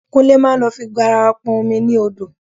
Kúnlé máa lọ fi garawa pọn omi ní odò